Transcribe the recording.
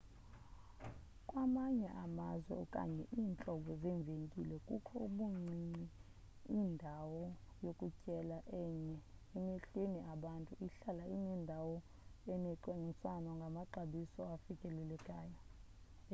kwamanye amazwe okanye iintlobo zeevenkile kukho ubuncinci indawo yokutyela enye emehlweni abantu ihlala inendawo engacwangciswanga ngamaxabiso afikelelekayo